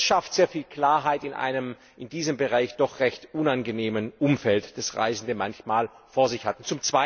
Das schafft sehr viel Klarheit in einem in diesem Bereich doch recht unangenehmen Umfeld, das Reisende manchmal vor sich hatten.